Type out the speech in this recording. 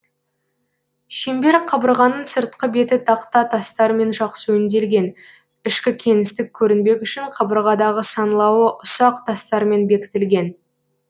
шеңбер қабырғаның сыртқы беті тақта тастармен жақсы өңделген ішкі кеңістік көрінбек үшін қабырғадағы саңылауы ұсақ тастармен бекітілген